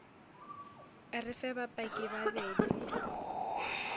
re fe bapaki ba bedi